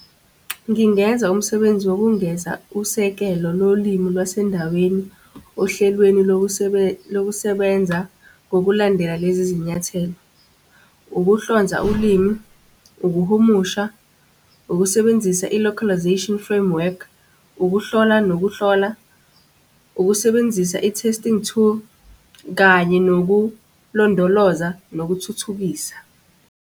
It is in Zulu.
Ngingenza umsebenzi wokungeza usekelo lolimi lwasendaweni ohlelweni lokusebenza ngokulandela lezi zinyathelo. Ukuhlonza ulimi, ukuhumusha, ukusebenzisa i-localisation framework, ukuhlola nokuhlola, ukusebenzisa i-testing tool, kanye nokulondoloza nokuthuthukisa.